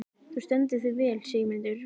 Þú stendur þig vel, Sigurmundur!